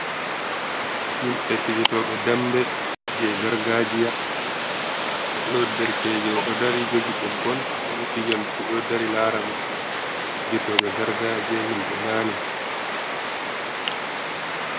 Himɓe fijetoɓe dambe je gargajiya, ɓeɗo derkejo oɗo dari jogi ɓoggol beɗo fija luttu ɓe ɗo dari lara mo, fijetoɓe garga je himɓe nani